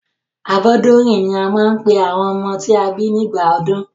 Abọ́dúnrìn ní wọ́n máa ń pe àwọn ọmọ tí a bí sí ìgbà ọdún.